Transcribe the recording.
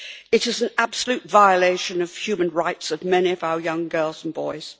It is an absolute violation of the human rights of many of our young girls and boys.